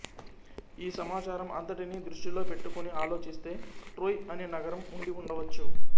ఈ సమాచారం అంతటిని దృష్టిలో పెట్టుకుని ఆలోచిస్తే ట్రోయ్ అనే నగరం ఉండి ఉండవచ్చు